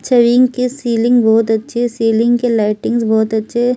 की सीलिंग बहुत अच्छी है सीलिंग के लाइटिंग बहुत अच्छे --